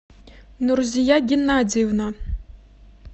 нурзия геннадьевна